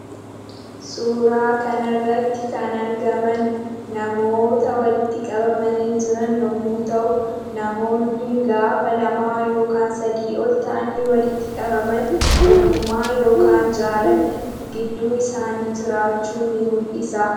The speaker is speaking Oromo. Suuraa kanarratti kan argaman namoota walitti qabamanii jiran yemmuu ta'u namoonni gaafa lamaa yookaan sadii ol ta'anii walitti qabaman tokkummaa yookaan jaalalli gidduu isaanii jiraachuu nii mul'isa.